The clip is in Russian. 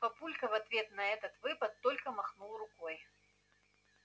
папулька в ответ на этот выпад только махнул рукой